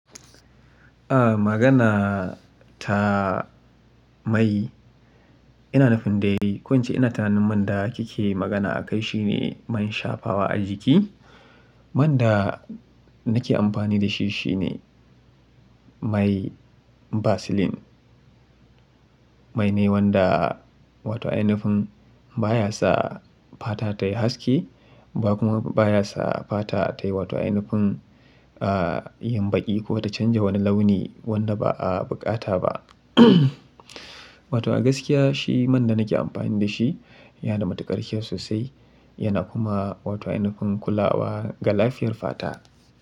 Ah, magana ta mai ina nufin dai, ko in ce ina tunanin man da kike magana akai shine man shafawa a jiki, Man da nake amfani da shi shine, mai Vaseline. Mai ne wanda, wato ainifin baya sa fata tayi haske, ba kuma baya sa fata tayi wato ainifin ah, yin baƙi ko ta canja wani launi wanda ba a buƙata ba. Wato a gaskiya shi man da nake amfani da shi yana da matuƙar kyau sosai yana kuma wato ainifin kulawa ga lafiyar fata.